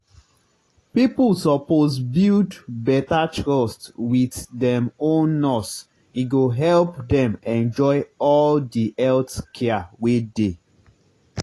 people suppose build better trust wit dem own nurse e go help dem enjoy all di health care wey dey.